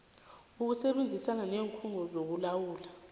ukusebenzisana kweenkhungo zokulawulwa